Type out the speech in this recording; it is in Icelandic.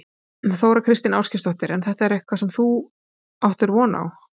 Þóra Kristín Ásgeirsdóttir: En er þetta eitthvað sem þú áttir von á?